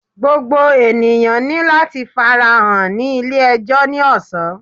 Gbogbo eniyan ni lati farahan ni ile-ẹjọ ni ọsan